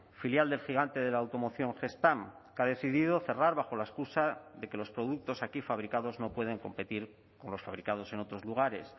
filial del gigante de la automoción gestamp que ha decidido cerrar bajo la excusa de que los productos aquí fabricados no pueden competir con los fabricados en otros lugares